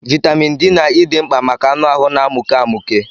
Vaịtamịn D na E dị mkpa maka anụ ahụ na-amụke amụke.